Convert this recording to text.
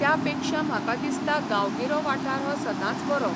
त्या पेक्षा म्हाका दिसता गांवगिरो वाठार हो सदांच बरो.